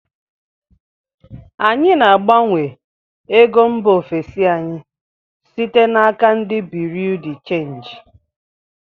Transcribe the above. Anyị na-agbanwe ego mba ofesi anyị site na aka ndị buriu di chenji